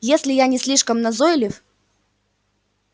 если я не слишком назойлив